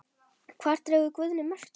Hvar dregur Guðni mörkin?